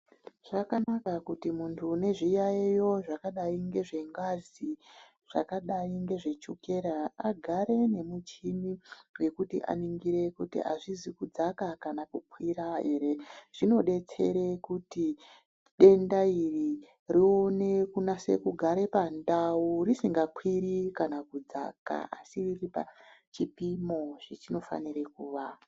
Zvakanaka kuti muntu une zviyayiyo zvakadai ngezvengazi, zvakadai ngezvechukera agare nemichini yekuti aningire kuti hazvisi kudzaka kana kukwira here, zvinodetsere kuti denda iri rione kunatse kugare pandau risingakwiri kana kudzaka asi riri pachipimo zvachinofanire kuva.